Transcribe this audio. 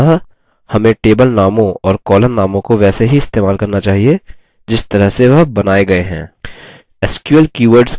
अतः हमें table नामों और column नामों को वैसे ही इस्तेमाल करना चाहिए जिस तरह से वह बनाये गये हैं